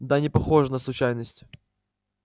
да непохоже на случайность